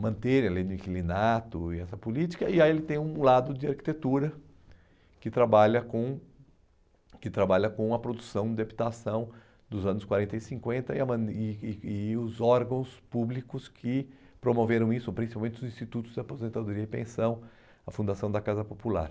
manter a lei do inquilinato e essa política, e aí ele tem um lado de arquitetura que trabalha com que trabalha com a produção de habitação dos anos quarenta e cinquenta e a ma e e e os órgãos públicos que promoveram isso, principalmente os institutos de aposentadoria e pensão, a fundação da Casa Popular.